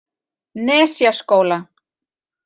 Nesjaskóla